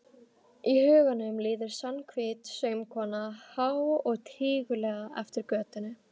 Í huganum líður Svanhvít saumakona há og tíguleg eftir götunni.